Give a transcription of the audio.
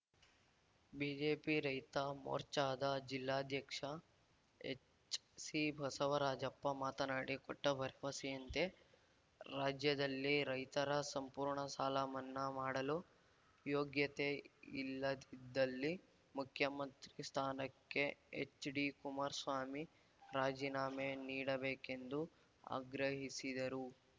BJP ರೈತ ಮೋರ್ಚಾದ ಜಿಲ್ಲಾಧ್ಯಕ್ಷ ಎಚ್‌ಸಿಬಸವರಾಜಪ್ಪ ಮಾತನಾಡಿ ಕೊಟ್ಟಭರವಸೆಯಂತೆ ರಾಜ್ಯದಲ್ಲಿ ರೈತರ ಸಂಪೂರ್ಣ ಸಾಲ ಮನ್ನಾ ಮಾಡಲು ಯೋಗ್ಯತೆ ಇಲ್ಲದಿದ್ದಲ್ಲಿ ಮುಖ್ಯಮಂತ್ರಿ ಸ್ಥಾನಕ್ಕೆ ಎಚ್‌ಡಿಕುಮಾರಸ್ವಾಮಿ ರಾಜೀನಾಮೆ ನೀಡಬೇಕೆಂದು ಆಗ್ರಹಿಸಿದರು